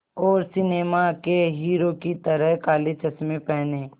और सिनेमा के हीरो की तरह काले चश्मे पहने